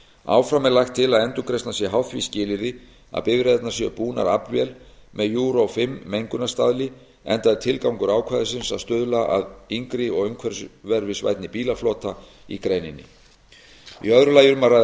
áfram er lagt til að endurgreiðslan sé háð því skilyrði að bifreiðarnar séu búnar aflvél með euro fimm mengunarstaðli enda er tilgangur ákvæðisins sá að stuðla að yngri og umhverfisvænni bílaflota í greininni í öðru lagi eru um að ræða